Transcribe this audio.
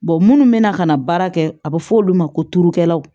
munnu bɛ na ka na baara kɛ a bɛ fɔ olu ma ko turukɛlaw